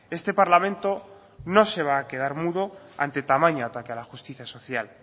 este parlamento no se va a quedar mudo ante tamaño ataque a la justicia social